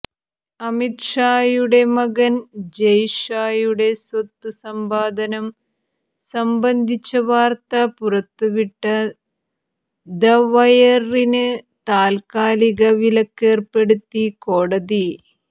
അമിത് ഷായുടെ മകൻ ജയ് ഷായുടെ സ്വത്തു സമ്പാദനം സംബന്ധിച്ച വാർത്ത പുറത്തുവിട്ട ദ വയറിന് താൽക്കാലിക വിലക്കേര്പ്പെടുത്തി കോടതി